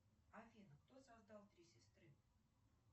афина кто создал три сестры